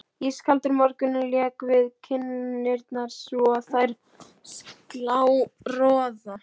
Ískaldur morgunninn lék við kinnarnar svo á þær sló roða.